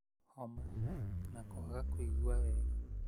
homa, na kwaga kũigua wega.